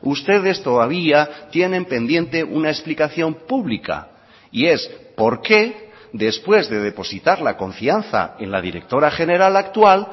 ustedes todavía tienen pendiente una explicación pública y es por qué después de depositar la confianza en la directora general actual